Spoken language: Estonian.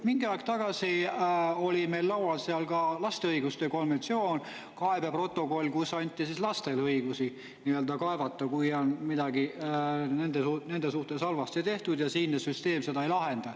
Mingi aeg tagasi oli meil laual ka laste õiguste konventsioon, kaebeprotokoll, kus anti lastele õigusi kaevata, kui on midagi nende suhtes halvasti tehtud ja siinne süsteem seda ei lahenda.